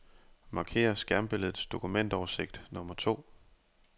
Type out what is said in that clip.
Marker skærmbilledets dokumentoversigt nummer to.